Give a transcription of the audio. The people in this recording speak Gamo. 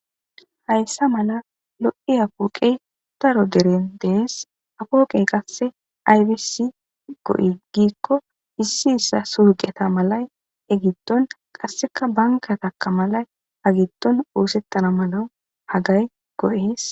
hayssa mala lo7e apooqey taro deren dees afooqey qasse aybisi go7i giikko issi issa surgeta malay egitton qasseka banka taka malay agitton woosettana mala hagay go7ees